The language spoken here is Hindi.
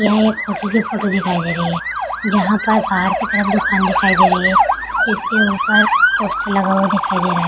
यह एक होटल की फोटो दिखाई दे रही है जहाँ पर बाहर की तरफ दुकान दिखाई दे रही है इसके ऊपर पोस्टर लगा हुआ दिखाई दे रहा है।